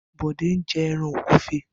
Bode n jè èràn ógùfé